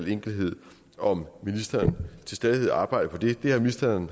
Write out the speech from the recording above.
enkelthed om ministeren til stadighed arbejder på det det har ministeren